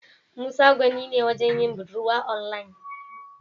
Musa gwani ne wajen yin budurwa onlayin.